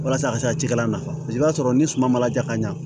Walasa a ka se ka cikɛla nafa i b'a sɔrɔ ni suma ma ja ka ɲa